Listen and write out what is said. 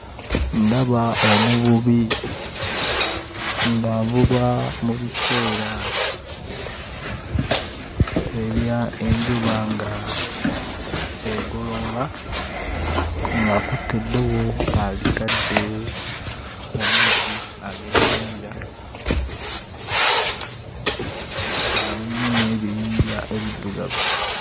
Ndaba omuvubi ng'avuba mu biseera ebya enjuba nga egolooba, ng'akutte eddobo alitadde mu mazzi ag'ennyanja nga mulimu n'ebiyinja ebiddugavu.